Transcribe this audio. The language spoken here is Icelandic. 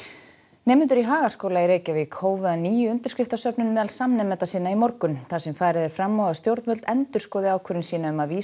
nemendur í Hagaskóla í Reykjavík hófu að nýju undirskriftasöfnun meðal samnemenda sinna í morgun þar sem farið er fram á að stjórnvöld endurskoði ákvörðun sína um að vísa